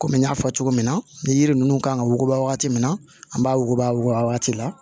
Komi n y'a fɔ cogo min na ni yiri ninnu kan ka wuguba wagati min na an b'a wuguba wuguba wagati la